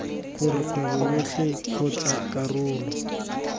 gore kgwebo yotlhe kgotsa karolo